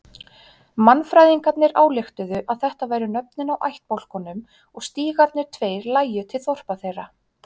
Mannfræðingarnir ályktuðu að þetta væru nöfnin á ættbálkunum og stígarnir tveir lægju til þorpa þeirra.